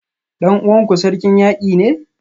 Dan uwanku Sarkin Yaki ne?